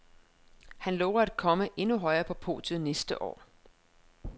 Han lover at komme endnu højere på podiet næste år.